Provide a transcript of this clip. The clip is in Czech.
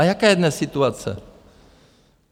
A jaká je dnes situace?